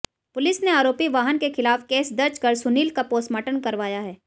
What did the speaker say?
police ने आरोपी वाहन के खिलाफ केस दर्ज कर सुनील का पोस्टमॉर्टम करवाया है